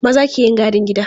Maza ke yin gadin gida.